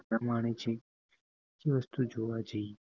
આનંદ માણે છે જે વસ્તુ જોવાજાયએ